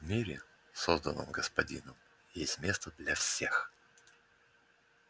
в мире созданном господином есть место для всех